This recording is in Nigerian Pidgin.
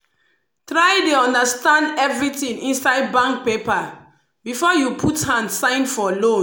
try dey understand everything inside bank paper before you put hand sign for loan.